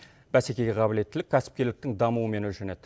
бәсекеге қабілеттілік кәсіпкерліктің дамуымен өлшенеді